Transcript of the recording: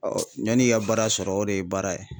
yanni i ka baara sɔrɔ o de ye baara ye.